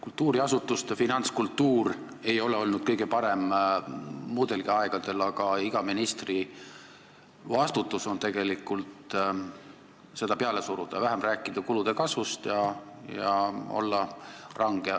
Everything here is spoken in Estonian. Kultuuriasutuste finantskultuur ei ole olnud kõige parem muudelgi aegadel, aga iga ministri vastutus on tegelikult seda peale suruda, vähem tuleb rääkida kulude kasvust ja olla range.